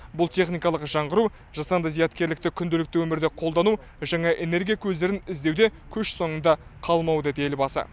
бұл техникалық жаңғыру жасанды зияткерлікті күнделікті өмірде қолдану жаңа энергия көздерін іздеуде көш соңында қалмау деді елбасы